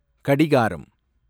கடிகாரம்